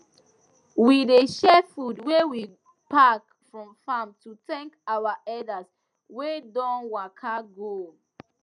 we dey share food wey we pack from farm to thank our elders wey don waka go